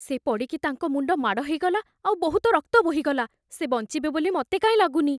ସେ ପଡ଼ିକି ତାଙ୍କ ମୁଣ୍ଡ ମାଡ଼ ହେଇଗଲା, ଆଉ ବହୁତ ରକ୍ତ ବୋହିଗଲା । ସେ ବଞ୍ଚିବେ ବୋଲି ମତେ କାଇଁ ଲାଗୁନି ।